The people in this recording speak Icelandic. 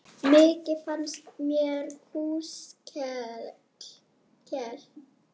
Mikið fannst af kúskel.